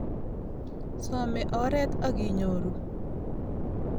Some oret akinyoru